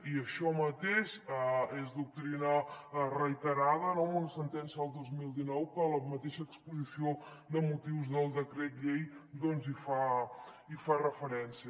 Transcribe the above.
i això mateix és doctrina reiterada no amb una sentència del dos mil dinou que la mateixa exposició de motius del decret llei doncs hi fa referència